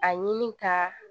A ɲini ka